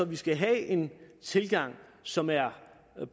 vi skal have en tilgang som er